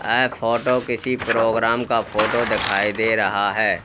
यह फोटो किसी प्रोग्राम का फोटो दिखाई दे रहा है।